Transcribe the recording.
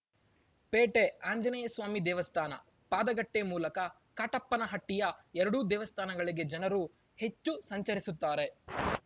ಪೇಟೆ ಆಂಜನೇಯಸ್ವಾಮಿ ದೇವಸ್ಥಾನ ಪಾದಗಟ್ಟೆಮೂಲಕ ಕಾಟಪ್ಪನಹಟ್ಟಿಯ ಎರಡೂ ದೇವಸ್ಥಾನಗಳಿಗೆ ಜನರು ಹೆಚ್ಚು ಸಂಚರಿಸುತ್ತಾರೆ